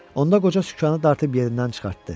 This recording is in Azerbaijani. Onda qoca sükanı dartıb yerindən çıxartdı.